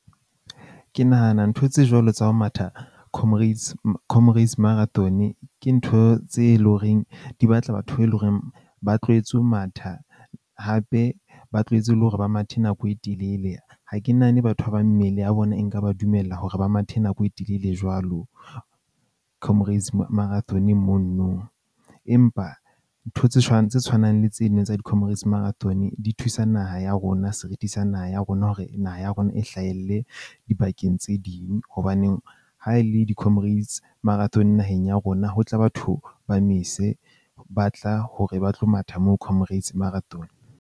Ke nahana ntho tse jwalo tsa ho matha Comrades Comrades Marathon-e ke ntho tse leng horeng di batla batho ba eleng horeng ba tlwaetse ho matha. Hape ba tlohetse le hore ba mathe nako e telele. Ha ke nahane batho ba bang mmele ya bona e nka ba dumella hore ba mathe nako e telele jwalo, Comrades Marathon mono nong. Empa ntho tse tse tshwanang le tsena tsa di-Comrades Marathon di thusa naha ya rona seriti sa naha ya rona, hore naha ya rona e hlahelle dibakeng tse ding. Hobaneng ha e le di-Comrades Marathon naheng ya rona, ho tla batho ba mese ba tla hore ba tlo matha moo Comrades Marathon.